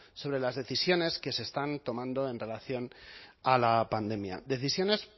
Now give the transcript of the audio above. sobre las decisiones que se están tomando en relación a la pandemia decisiones